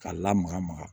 K'a lamaga maga